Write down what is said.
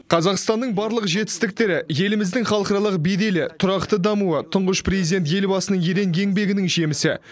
қазақстанның барлық жетістіктері еліміздің халықаралық беделі тұрақты дамуы тұңғыш президент елбасының ерен еңбегінің жемісі